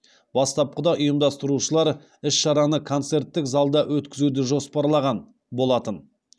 бастапқыда ұйымдастырушылар іс шараны концерттік залда өткізуді жоспарлаған болатын